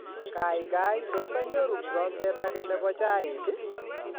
Kaikai tos anyoru kikombet age nebo chaik